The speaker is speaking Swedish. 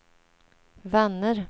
vänner